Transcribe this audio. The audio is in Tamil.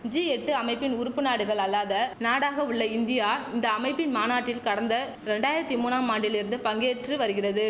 ஜி எட்டு அமைப்பின் உறுப்பு நாடுகள் அல்லாத நாடாக உள்ள இந்தியா இந்த அமைப்பின் மாநாட்டில் கடந்த ரெண்டாயிரத்து மூனாம் ஆண்டில் இருந்து பங்கேற்று வருகிறது